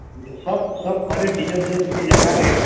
ସ୍ଵ ଖତ ଟିକେ ଟିକେ ଜାଗାରେ